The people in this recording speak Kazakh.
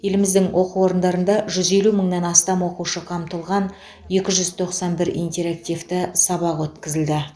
еліміздің оқу орындарында жүз елу мыңнан астам оқушы қамтылған екі жүз тоқсан бір интерактивті сабақ өткізілді